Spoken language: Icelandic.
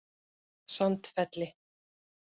Sandfelli